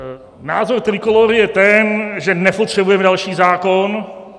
Názor Trikolóry je ten, že nepotřebujeme další zákon.